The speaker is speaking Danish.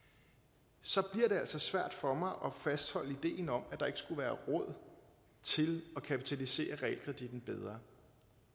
så bliver altså svært for mig at fastholde ideen om at der ikke skulle være råd til at kapitalisere realkreditten bedre